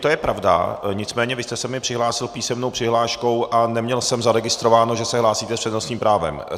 To je pravda, nicméně vy jste se mi přihlásil písemnou přihláškou a neměl jsem zaregistrováno, že se hlásíte s přednostním právem.